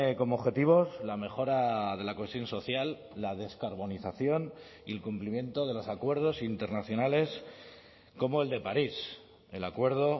como objetivos la mejora de la cohesión social la descarbonización y el cumplimiento de los acuerdos internacionales como el de parís el acuerdo